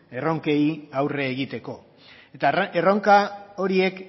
erronkei aurre egiteko eta erronka horiek